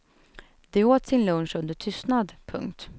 De åt sin lunch under tystnad. punkt